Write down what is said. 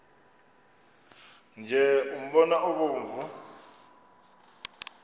nje umbona obomvu